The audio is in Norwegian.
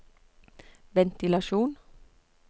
ventilasjon